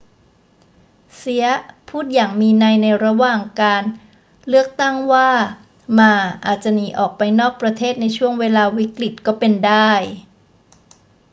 เซียะพูดอย่างมีนัยในระหว่างการเลือกตั้งว่าหม่าอาจจะหนีออกไปนอกประเทศในช่วงเวลาวิกฤตก็เป็นได้